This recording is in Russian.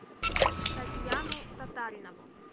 татьяну татаринову